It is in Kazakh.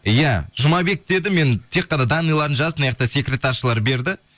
иә жұмабек деді мен тек қана данныйларын жазып мынаяқта секретаршылар берді